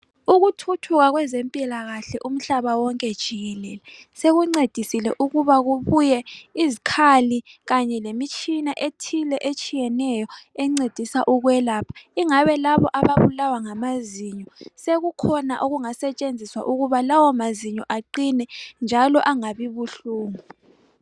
Ukuthuthuka kwezempilakahle umhlaba wonke jikelele sekungcedisile ukuba kubuye izikhali kanye lemitshina ethile etshiyeneyo engcedisa ukwelapha ingabe laba ngamazinyo sekukhona okusentshinziswa ukubana lawo mazinyo aqine njalo engabi buhlungu